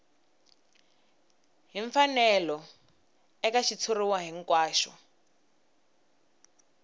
hi mfanelo eka xitshuriwa hinkwaxo